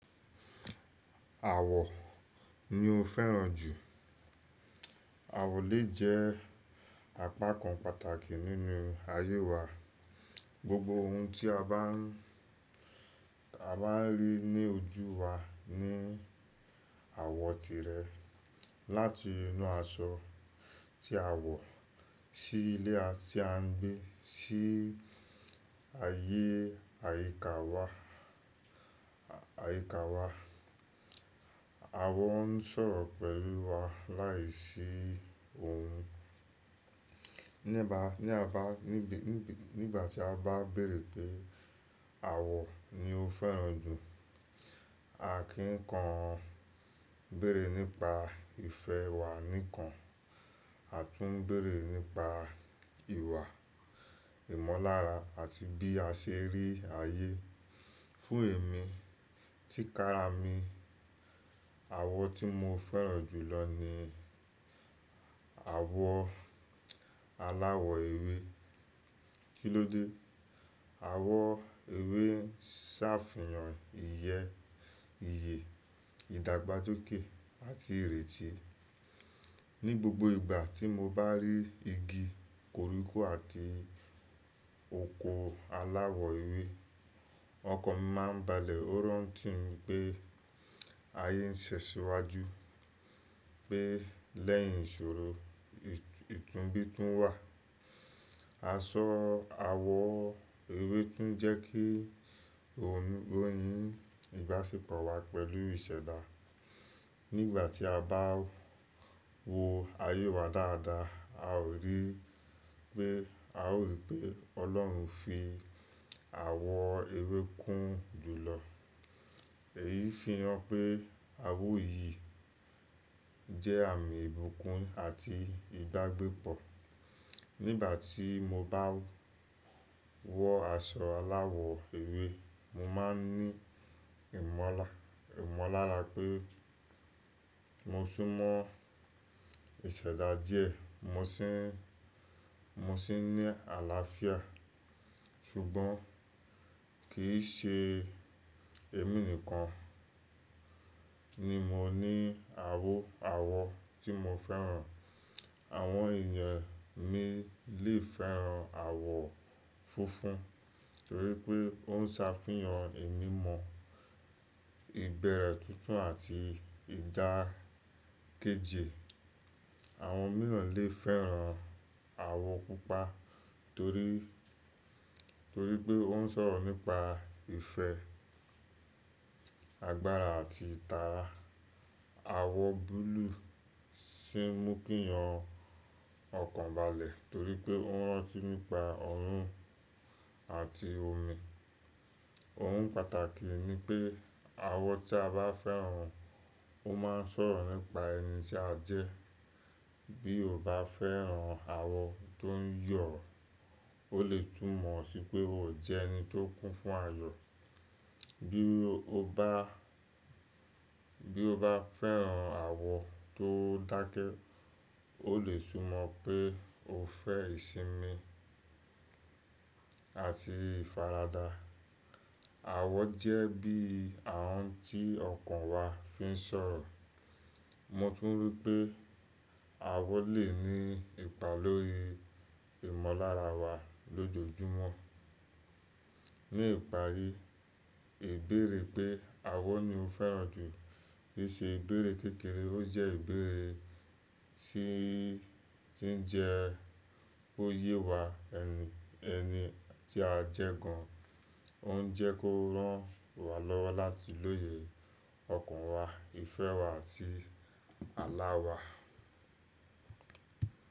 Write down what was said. Àwọ̀ ni o fẹ́ràn jù. Àwọ̀ lè jẹ́ apakan pàtàkì nínú ayé wa. Gbogbo ohun tí a bá ń, a bá ń rí ní ojú wa ní àwọ̀ tirẹ̀. Láti inú aṣọ tí a wọ̀, sí ilé tí à ń gbé, sí ayé àyíká wa, àyíká wa. Àwọ̀ ń sọ̀rọ̀ pẹ̀lú wa láìsí ohùn. Ní ba, ní a bá, níbi, níbí, nígbà tí a bá béèrè pé àwọ̀ ni o fẹ́ràn jù, a kì í kan béèrè nípa ìfẹ́ wa nìkan. A tún ń béèrè nípa ìwà, ìmọ̀lára àti bí a ṣe rí ayé. Fún èmi, tí kára mi, àwọ̀ tí mo fẹ́ràn jù lọ ni àwọ̀ alawọ ewé. Kí ló dé? Àwọ̀ ewé ń ṣàfihàn ìyẹ́, ìyè, ìdàgbàsókè àti ìrètí. Ni gbogbo ìgbà tí mo bá rí igi koríko àti oko alawọ ewé, ọkàn mi máa ń balẹ̀. Ó rán ti mi pé ayé ń ṣẹ́ṣíwájú, pé lẹ́yìn ìṣòro, ìtúnbí tún wà. Aṣọ awọ ewé tún jẹ́ kí ọ̀n, oyín ìgbásípọ̀ wa pẹ̀lú ìṣẹ̀dá. Nígbà tí a bá wo ayé wa dáadáa, a ó rí pé, a ó rí pé Ọlọ́run fi àwọ̀ ewé kún ju lọ. Èyí fi hàn pé àwọ̀ yìí jẹ́ àmì ìbùkún àti ìdágbẹ́pọ̀. Nígbà tí mo bá wọ aṣọ alawọ ewé, mo máa ń ní ìmọla, ìmọ̀lára pé mo ṣùnmọ ìṣẹ̀dá díẹ̀, mo sì ń, mo sì ní àlàáfíà. Ṣùgbọ́n kì í ṣe èmi nìkan ni mo ní àwò, àwọ̀ tí mo fẹ́ràn. Àwọn èèyàn míì lè fẹ́ràn àwọ̀ funfun nítorí pé ó ń ṣàfihàn ìmímọ̀, ìbẹ̀rẹ̀ tuntun àti ìdákejì. Àwọn mìíràn lè fẹ́ràn àwọ̀ pupa torí, torí pé ó ń sọ̀rọ̀ nípa ìfẹ́, agbára àti ìtara. Àwọ̀ búlúù sì ń mú kí yan ọkàn balẹ̀ torí pé ó ń rántí nípa ọ̀run àti omi. Ohun pàtàkì ni pé àwọ̀ tí a bá fẹ́ràn ó máa ń sọ̀rọ̀ nípa ẹni tí a jẹ́. Bí o bá fẹ́ràn àwọ̀ tó ń yọ̀, ó lè túmọ̀ sí pé ó jẹ́ ẹni tó kún fún ayọ̀. Bí o bá, bí o bá fẹ́ràn àwọ̀ tó dákẹ́, ó lè túmọ̀ pé o fẹ́ ìsinmi àti ìfaradà. Àwọ̀ jẹ́ bí àhùn tí ọkàn wa fi ń sọ̀rọ̀. Mo tún rí pé àwọ̀ lè ní ipa lórí ìmọ̀lára wa lójoojúmọ́. Ni ìparí, ìbéèrè pé àwọ̀ ni o fẹ́ràn jù rí ṣe ìbéèrè kékeré. Ó jẹ́ ìbéèrè tí, tí ń jẹ ó yẹ wa ẹni, ẹni tí a jẹ́ gan. Ó ń jẹ́ kó rán wa lọ́wọ́ láti lóye ọkàn wa, ìfẹ́ wa àti àlá wa.